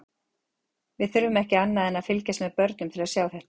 Við þurfum ekki annað en að fylgjast með börnum til að sjá þetta.